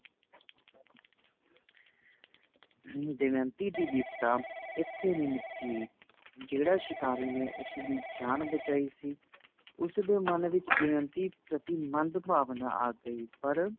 ਹਮ ਦਮਯੰਤੀ ਦੀ ਵਿੱਪਤਾ ਇੱਥੇ ਨੀਂ ਮੁੱਕੀ ਜਿਹੜਾ ਸ਼ਿਕਾਰੀ ਨੇ ਉਸਦੀ ਜਾਨ ਬਚਾਈ ਸੀਂ ਉਸਦੇ ਮੰਨ ਵਿੱਚ ਦਮਯੰਤੀ ਪ੍ਰਤੀ ਮੰਦਭਾਵਨਾ ਆ ਗਈ ਪਰ